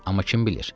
Amma kim bilir?